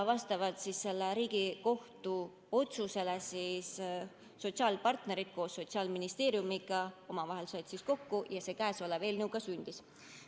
Vastavalt sellele Riigikohtu otsusele said sotsiaalpartnerid koos Sotsiaalministeeriumiga omavahel kokku ja käesolev eelnõu ka sündis.